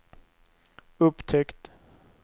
upptäckt